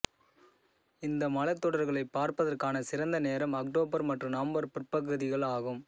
இந்த மலைத்தொடர்களைப் பார்ப்பதற்கான சிறந்த நேரம் அக்டோபர் மற்றும் நவம்பர் பிற்பகுதிகள் ஆகும்